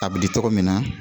A bi di cogo min na